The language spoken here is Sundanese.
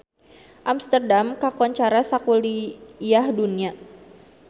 Amsterdam kakoncara sakuliah dunya